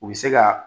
U bɛ se ka